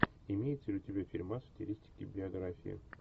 имеется ли у тебя фильмас в стилистике биография